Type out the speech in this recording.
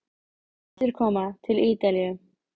Endurkoma til Ítalíu?